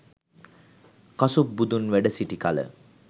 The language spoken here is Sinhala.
කසුප් බුදුන් වැඩසිටි කල